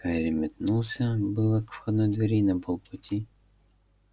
гарри метнулся было к входной двери и на полпути